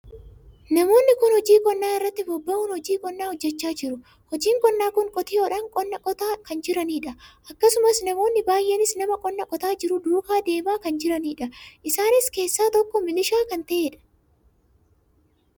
Namoonni kun hojii qonnaa irratti bobba'uun hojii qonnaa hojjechaa jiru. hojiin qonnaa kun qotiyyoodhan qonnaa qotaa kan jiranidha. akkasumas namoonni baay'eenis nama qonnaa qotaa jiru duukaa deemaa kan jiranidha. isaan keessaa tokko milishaa kan taheedha.